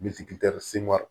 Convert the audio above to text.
Bitikitɛri seman